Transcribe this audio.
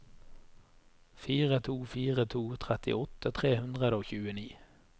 fire to fire to trettiåtte tre hundre og tjueni